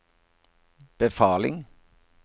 befaling